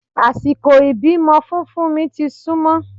Àsìkò ìbímọ fún fúnmi ti súnmọ́